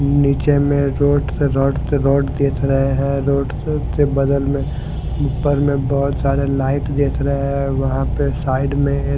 नीचे में रोड पे रॉड के रॉड पे रोड दिख रहे हैं रोड के बगल में ऊपर में बहुत सारी लाइट दिख रही हैं वहां पे साइड में एक --